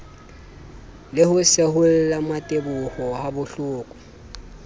le ho seholla mmateboho habohloko